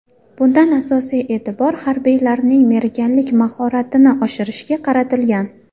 Bunda asosiy e’tibor harbiylarning merganlik mahoratini oshirishga qaratilgan.